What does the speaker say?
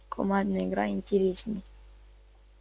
командная игра интереснее